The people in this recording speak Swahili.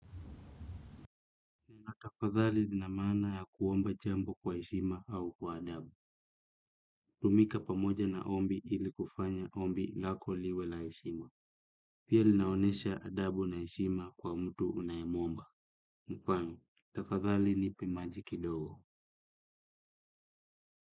Na tafadhali lina maana ya kuomba jambo kwa heshima ama kwa adabu hutumika pamoja na ombi ili kufanya ombi lako liwe la heshima. Pia linaonesha adabu na heshima kwa mtu unayemwomba. Mfano, tafadhali nipi majiki dogo.